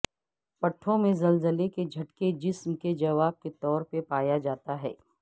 پٹھوں میں زلزلے کے جھٹکے جسم کے جواب کے طور پر پایا جاتا ہے